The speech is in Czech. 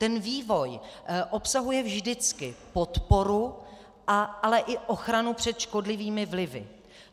Ten vývoj obsahuje vždycky podporu, ale i ochranu před škodlivými vlivy.